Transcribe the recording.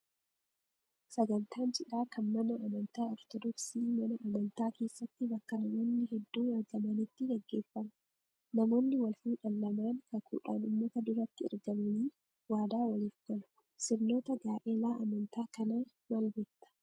Sagantaan cidhaa kan mana amantaa ortodoksii mana amantaa keessatti bakka namoonni hedduun argamanitti gaggeeffama. Namoonni wal fuudhan lamaan kakuudhaan uummata duratti argamanii waadaa qaliif galu. Sirnoota gaa'elaa amantaa kanaa maal beekta?